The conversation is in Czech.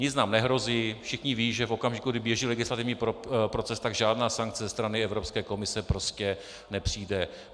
Nic nám nehrozí, všichni vědí, že v okamžiku, kdy běží legislativní proces, tak žádná sankce ze strany Evropské komise prostě nepřijde.